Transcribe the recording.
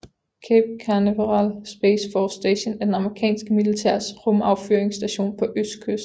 Cape Canaveral Space Force Station er det amerikanske militærs rumaffyringsstation på østkysten